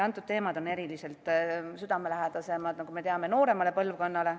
Need teemad on eriliselt südamelähedased, nagu me teame, nooremale põlvkonnale.